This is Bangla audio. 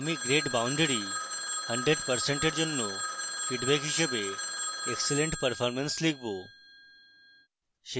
আমি grade boundary 100% এর জন্য feedback হিসাবে excellent performance লিখব